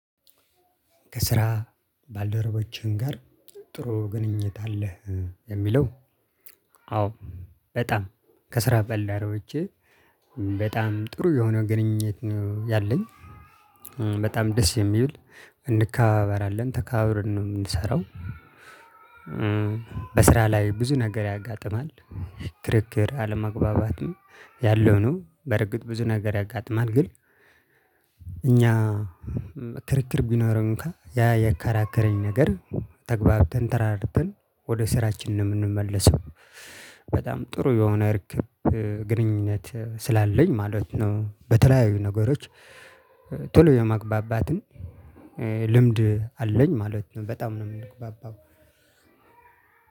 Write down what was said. ከስራ ባልደረቦቼም ጋር ጥሩ ግንኙነት አለህ የሚለው? አዎ በጣም ከስራ ባልደረቦቼ በጣም ጥሩ የሆነ ግንኙነት ነው ያለኝ በጣም ደስ የሚል እንከባበራለን ተከባብረን ነው የምንሰራው። በስራ ላይ ብዙ ነገር ያጋጥማል ክርክር አለመግባባትም ያለው ነው በእርግጥ ብዙ ነገር ያጋጥማል ግን። እኛ ክርክር ቢኖረው እንኳን ያ ያከራከረኝ ነገር ተግባብተን ተረዳድተን ወደ ስራችን ነው የምንመለሰው። በጣም ጥሩ የሆነ እርክብ ግንኙነት ስላለኝ ማለት ነው። በተለያዩ ነገሮች ቶሎ የመግባባትም ልምድ አለኝ ማለት ነው። በጣም ነው የምንግባባው።